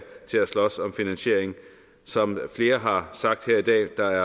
til at slås om finansieringen som flere har sagt her i dag er der